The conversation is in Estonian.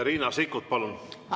Riina Sikkut, palun!